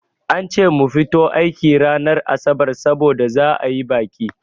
An ce mu fito aiki ranar asabar saboda za'a yi baƙi.